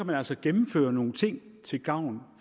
man altså gennemføre nogle ting til gavn